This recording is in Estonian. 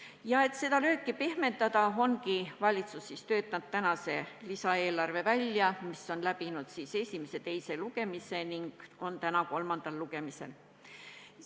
Ja et seda lööki pehmendada, ongi valitsus töötanud välja tänase lisaeelarve, mis on läbinud esimese ja teise lugemise ning on täna kolmandal lugemisel.